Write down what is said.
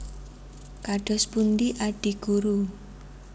Kados pundi Adi Guru